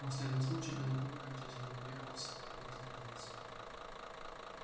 после этого случая белый клык окончательно уверовал в себя и возгордился